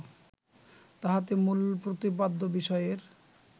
তাহাতে মূল প্রতিপাদ্য বিষয়ের